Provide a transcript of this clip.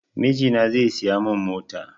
Mijina zai siya mun mota